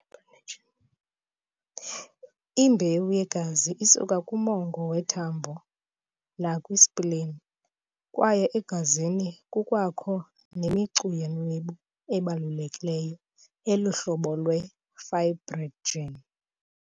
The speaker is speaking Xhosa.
Imbewu yegazi isuka kumongo wethambonakwi"spleen", kwaye egazini kukwakho ne"micu yeenwebu" ebalulekileyo eluhlobo lwe"fibrinogen".